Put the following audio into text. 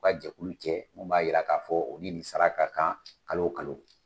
U ka jɛkulu jɛ min b'a jira k'a fɔ u ni nin sara ka kan kalo o kalo.